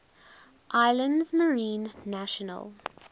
islands marine national